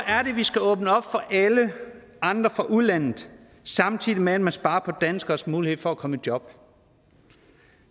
skal vi åbne op for alle andre fra udlandet samtidig med at man sparer på danskeres mulighed for at komme i job